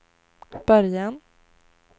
början